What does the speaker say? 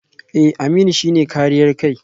Eh Aminu shi ne kariyar kai